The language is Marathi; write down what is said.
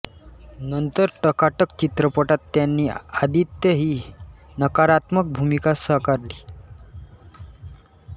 नंतर टकाटक चित्रपटात त्यांनी आदित्य ही नकारात्मक भूमिका साकारली